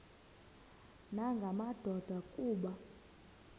nanga madoda kuba